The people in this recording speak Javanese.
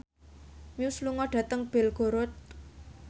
Muse lunga dhateng Belgorod